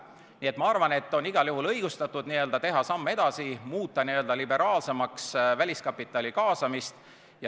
Nii et ma arvan, et on igal juhul õigustatud teha samm edasi, muuta liberaalsemaks väliskapitali kaasamist.